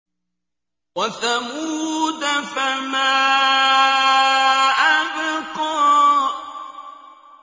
وَثَمُودَ فَمَا أَبْقَىٰ